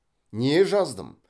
не жаздым